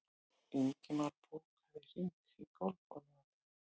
Ingimar, bókaðu hring í golf á laugardaginn.